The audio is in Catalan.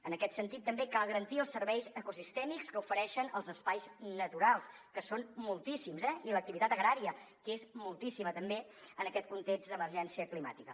en aquest sentit també cal garantir els serveis ecosistèmics que ofereixen els espais naturals que són moltíssims eh i l’activitat agrària que és moltíssima també en aquest context d’emergència climàtica